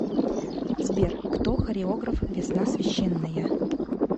сбер кто хореограф весна священная